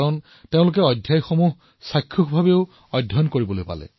তেওঁলোকে অধ্যায়সমূহ ভিজুৱেলীও বুজি পালে